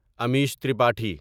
Amish Tripathi